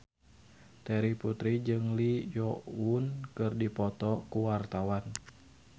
Terry Putri jeung Lee Yo Won keur dipoto ku wartawan